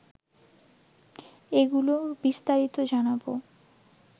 এগুলোর বিস্তারিত জানাব